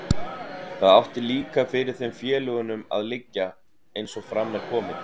Það átti líka fyrir þeim félögunum að liggja, eins og fram er komið.